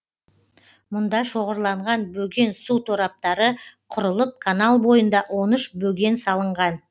мұнда шоғырланған бөген су тораптары құрылып канал бойында он үш бөген салынған